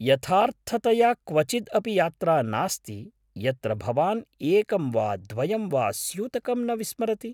यथार्थतया क्वचिद् अपि यात्रा नास्ति यत्र भवान् एकं वा द्वयं वा स्यूतकं न विस्मरति।